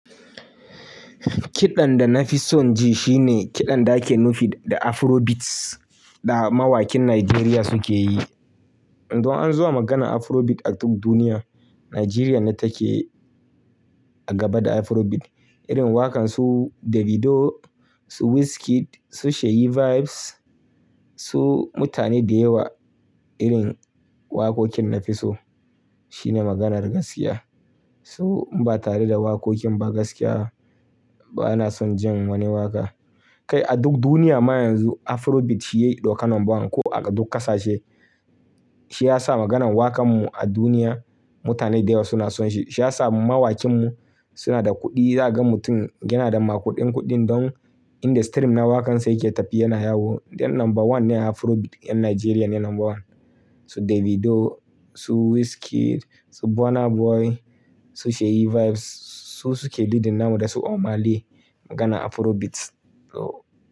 Kiɗan da na fi son ji shine kiɗan da ake nufi da Afrobeats da mawakin Najeriya suke yi. Don an zo a magana Afrobeats a duk duniya, Najeriya ne take a gaba da Afrobeats. Irin waƙan su Davido, su Wizkid, su Sheyi Vibes, su mutane da yawa. Irin waƙoƙin na fi so shine maganar gaskiya. Su ba tare da waƙoƙin ba gaskiya bana son jin wani waƙa. Kai a duk duniya ma yanzu Afrobeats shi yayi ɗaukan number one ko a duk ƙasashe. Shi ya sa maganan waƙan mu a duniya mutane da yawa suna son shi. Shi ya sa mawakin mu suna da kuɗi. Za ka ga mutum yana da ma kuɗin kuɗin don in da stream na waƙan sa yake tafi yana yawo. Dan number one ne Afrobeats, ƴan Najeriya ne number one. Su Davido, su Wizkid, su Burna Boy, su Sheyi Vibes su suke leading namu da su Omah Lay maganan Afrobeats. So.